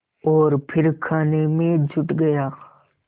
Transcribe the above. और फिर खाने में जुट गया